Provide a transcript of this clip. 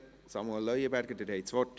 Samuel Leuenberger, Sie haben das Wort.